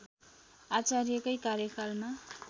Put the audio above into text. आचार्यकै कार्यकालमा